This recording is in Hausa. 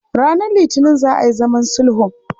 Ranar Litinin za a yi zaman sulhun.